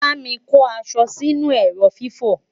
bámi kò aṣọ Si inú ẹrọ fifo